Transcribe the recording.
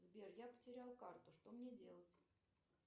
сбер я потеряла карту что мне делать